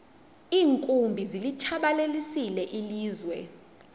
iinkumbi zilitshabalalisile ilizwe